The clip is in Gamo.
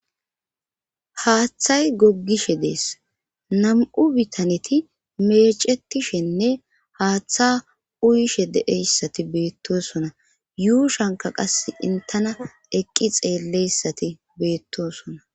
Haaththay goggishe dees nam'u bitaneti meecetishenne haaththa uyishe de'eyssati beettosona yuushanka qas intana eqqi xeelleyssati beettosona.